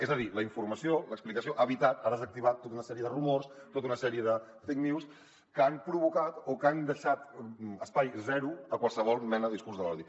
és a dir la informació l’explicació ha evitat ha desactivat tota una sèrie de rumors tota una sèrie de fake news que han deixat espai zero a qualsevol mena de discurs de l’odi